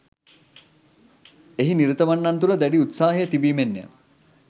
එහි නිරතවන්නන් තුළ දැඩි උත්සාහය තිබීමෙන්ය